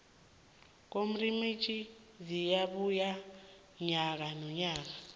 kwamrimitjho ziyabuya nyaka nonyaka